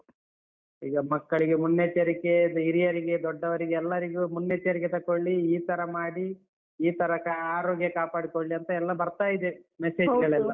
ಈಗ ಮಕ್ಕಳಿಗೆ ಮುನ್ನೆಚ್ಚರಿಕೆ, ಹಿರಿಯರಿಗೆ, ದೊಡ್ಡವರಿಗೆ ಎಲ್ಲರಿಗೂ ಮುನ್ನೆಚ್ಚರಿಕೆ ತಕೊಳ್ಳಿ, ಈ ತರ ಮಾಡಿ, ಈ ತರ ಅಹ್ ಆರೋಗ್ಯ ಕಾಪಾಡಿಕೊಳ್ಳಿ ಅಂತೆಲ್ಲ ಬರ್ತಾಯಿದೆ message ಗಳೆಲ್ಲ.